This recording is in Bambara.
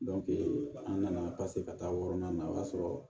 an nana ka taa wɔɔrɔnan na o y'a sɔrɔ